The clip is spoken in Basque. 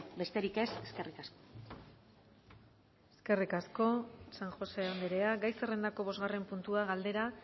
besterik ez eskerrik asko eskerrik asko san josé andrea gai zerrendako bosgarren puntua galdera